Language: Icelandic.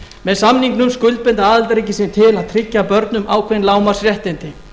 með samningnum skuldbinda aðildarríkin sig til að tryggja börnum ákveðin lágmarksréttindi